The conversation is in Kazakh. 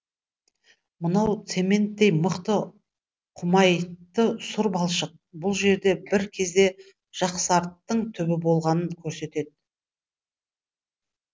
мынау цементтей мықты құмайтты сұр балшық бұл жер бір кезде жақсарттың түбі болғанын көрсетеді